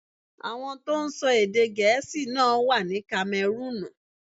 Àwọn tó ń sọ èdè Gẹ̀ẹ́sì náà wà ní Kamẹrúùnù.